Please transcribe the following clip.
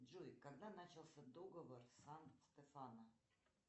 джой когда начался договор сан стефано